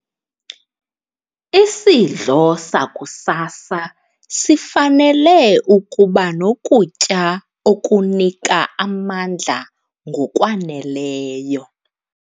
Isidlo sakusasa sifanele ukuba nokutya okunika amandla ngokwaneleyo.